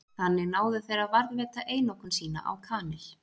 Þannig náðu þeir að varðveita einokun sína á kanil.